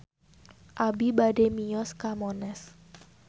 Abi bade mios ka Monas